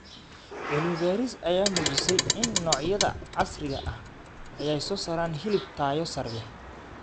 Cilmi baaris ayaa muujisay in noocyada casriga ah ay soo saaraan hilib tayo sare leh.